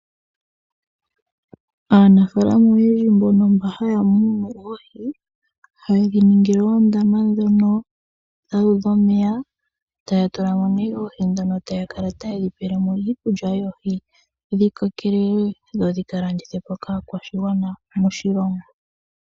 Aanafaalama oyendji mba haya munu oohi. Ohayedhi ningile oondama ndhono dhuudha omeya . Etaya tula mo nee oohi ndhono taya kala tayedhi pelemo iikulya yoohi . Dhi kokelele dho dhi ka landithwepo kaakwashigwana moshilongo.